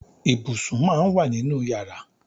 Ibùsùn máà ń wà nínú yàrá.